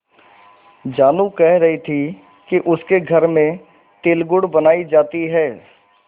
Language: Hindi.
जानू कह रही थी कि उसके घर में तिलगुड़ बनायी जाती है